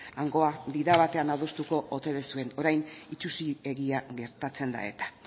hangoa di da batean adostuko ote duzuen orain itsusi egia gertatzen da eta